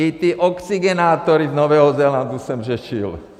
I ty oxygenátory z Nového Zélandu jsem řešil.